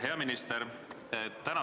Hea minister!